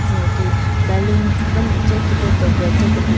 Tsü nyeki ballons den mache khipe decorate thyu kebin --